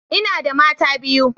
Ina da mata biyu.